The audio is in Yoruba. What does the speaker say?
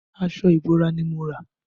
Aṣọ ìbora ni mo rà